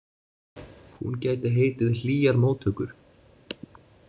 Hún gæti heitið Hlýjar móttökur.